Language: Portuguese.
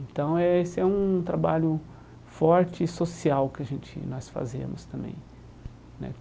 Então eh esse é um trabalho forte e social que a gente, nós fazemos também né.